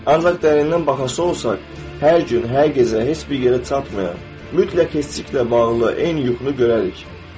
Ancaq dərindən baxası olsaq, hər gün, hər gecə heç bir yerə çatmayan, mütləq keçiciliklə bağlı eyni yuxunu görərik.